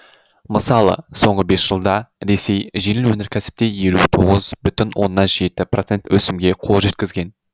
мысалы соңғы бес жылда ресей жеңіл өнеркәсіпте елу тоғыз бүтін оннан жеті процент өсімге қол жеткізген